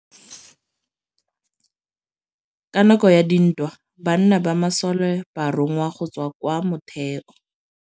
Ka nakô ya dintwa banna ba masole ba rongwa go tswa kwa mothêô.